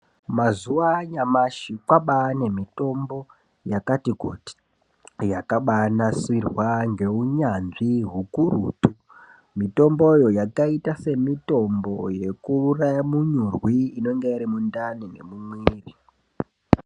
Mazuva kwabaa nemitombo yakati kuti yakabaanasirwa ngeunyanzvi hukurutu. Mitomboyo iyi yakaita semitombo yekuuraya munyurwi inenge iri mundani.